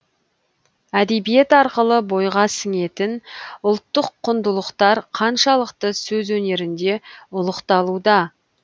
әдебиет арқылы бойға сіңетін ұлттық құндылықтар қаншалықты сөз өнерінде ұлықталуда